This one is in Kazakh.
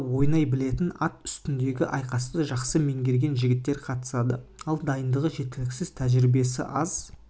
құлағында ойнай білетін ат үстіндегі айқасты жақсы меңгерген жігіттер қатысады ал дайындығы жеткіліксіз тәжірибесі аз